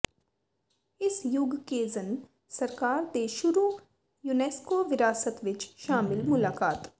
ਇਸ ਯੁਗ ਕੇਜ਼ਨ ਸਰਕਾਰ ਦੇ ਸ਼ੁਰੂ ਯੂਨੈਸਕੋ ਵਿਰਾਸਤ ਵਿੱਚ ਸ਼ਾਮਿਲ ਮੁਲਾਕਾਤ